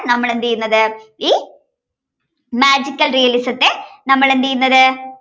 നമ്മൾ എന്ത് ചെയ്യുന്നത് ഈ magical realism ത്തെ നമ്മൾ എന്ത് ചെയ്യുന്നത്